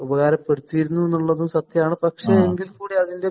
ഉപകാരപ്പെടുത്തിയിരുന്നു എന്നുള്ളതും സത്യാണ്. പക്ഷേ, എങ്കില്‍ കൂടി അതിന്‍റെ